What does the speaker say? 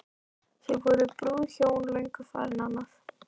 Þá voru brúðhjónin löngu farin annað.